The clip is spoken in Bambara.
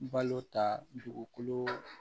Balo ta dugukolo